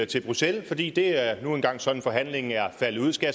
til bruxelles fordi det nu engang er sådan forhandlingen er faldet ud skal